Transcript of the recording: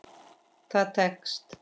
Það tekst.